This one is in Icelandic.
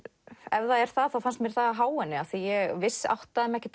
ef það er það þá fannst mér það há henni ég áttaði mig ekki